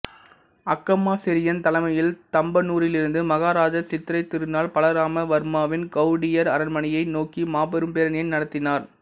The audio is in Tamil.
அக்கமா செரியன் தலைமையில் தம்பானூரிலிருந்து மகாராஜா சித்திரைத் திருநாள் பலராம வர்மாவின் கௌடியர் அரண்மனையை நோக்கி மாபெரும் பேரணியை நடத்தினார்